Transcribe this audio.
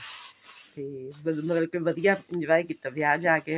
ਫੇਰ ਮਤਲਬ ਕਿ ਵਧੀਆ enjoy ਕੀਤਾ ਵਿਆਹ ਜਾ ਕੇ